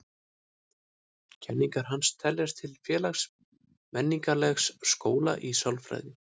Kenningar hans teljast til félags-menningarlegs skóla í sálfræði.